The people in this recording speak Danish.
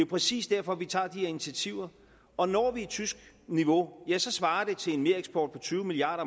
præcis derfor vi tager de her initiativer og når vi tysk niveau svarer det til en mereksport på tyve milliard